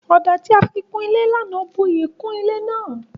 Ọ̀dà tí a fi kun ilé ní àná bu iyì kún ilé náà